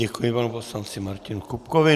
Děkuji panu poslanci Martinu Kupkovi.